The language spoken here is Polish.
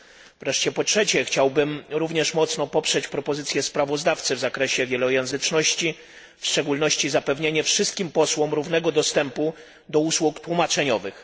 Po trzecie wreszcie, chciałbym również mocno poprzeć propozycję sprawozdawcy w zakresie wielojęzyczności, w szczególności zapewnienia wszystkim posłom równego dostępu do usług tłumaczeniowych.